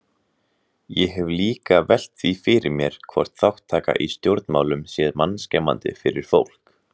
Ég hef líka velt því fyrir mér hvort þátttaka í stjórnmálum sé mannskemmandi fyrir fólk?